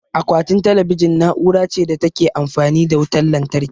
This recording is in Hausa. Akwatin talabijin na'ura ce da ta Ke amfani da wutan lantarki